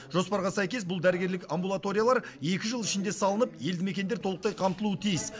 жоспарға сәйкес бұл дәрігерлік амбулаториялар екі жыл ішінде салынып елді мекендер толықтай қамтылуы тиіс